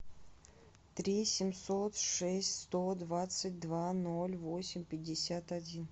три семьсот шесть сто двадцать два ноль восемь пятьдесят один